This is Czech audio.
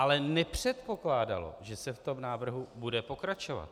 Ale nepředpokládalo, že se v tom návrhu bude pokračovat.